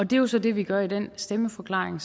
det er jo så det vi gør i den stemmeforklaring